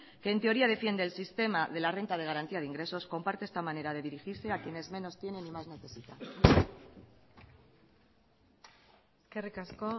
que en teoría defiende el sistema de la renta de garantía de ingresos comparte esta manera de dirigirse a quienes menos tienen y más necesitan eskerrik asko